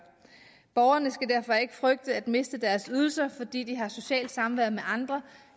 borgerne skal derfor ikke frygte at miste deres ydelser fordi der er socialt samvær med andre